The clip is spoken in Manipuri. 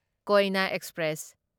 ꯀꯣꯢꯅ ꯑꯦꯛꯁꯄ꯭ꯔꯦꯁ